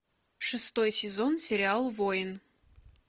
шестой сезон сериал воин